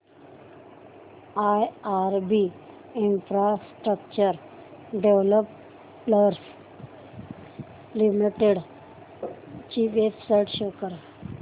IRB infrastructure developers limited ची website show करा